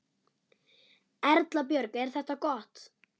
Erla Björg: Er þetta gott?